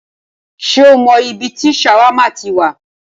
Ṣé o mọ ibi tí ṣàwámà ti wá?